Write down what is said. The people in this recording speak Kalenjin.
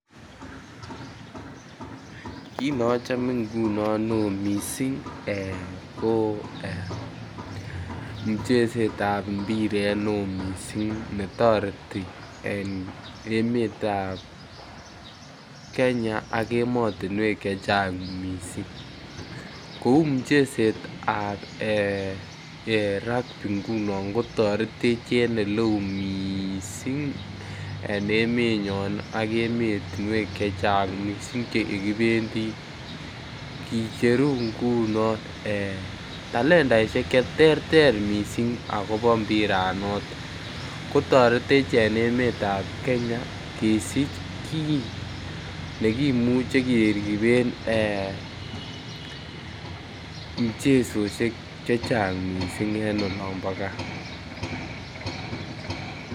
Kit ne chome ngunon neo mising ko mucheset ab mpiret neo mising ne kotoreti en emetab Kenya ak emotinwek Che Chang mising kou muchesetab rugby ngunon kotorech en Ole oo mising en emenyon ak emotinwek chechang mising Che kibendi kicheru ngunon talantasiek Che terter mising agobo mpira atop ko toretech en emetab Kenya kesich kit ne kimuche keriben muchesosiek chechang mising en olon bo gaa